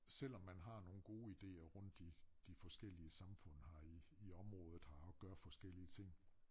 Selvom man har nogen gode idéer rundt i de forskellige samfund her i i området her og gør forskellige ting